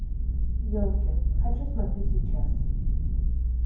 елки хочу смотреть сейчас